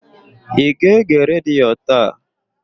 Ị ga-ege redio taa?